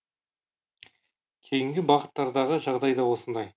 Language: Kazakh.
кейінгі бағыттардағы жағдай да осындай